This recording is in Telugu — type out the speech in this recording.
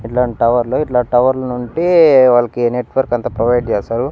ఇట్లాంటి టవర్లు ఇట్లా టవర్లు నుంటి వాళ్లకి నెట్వర్క్ అంతా ప్రొవైడ్ చేస్తారు.